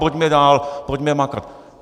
Pojďme dál, pojďme makat.